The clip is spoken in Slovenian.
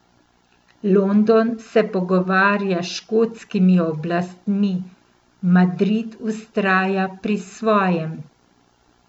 London se pogovarja s škotskimi oblastmi, Madrid vztraja pri svojem.